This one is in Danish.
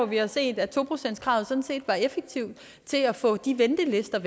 vi har set at to procentskravet sådan set var effektivt til at få de ventelister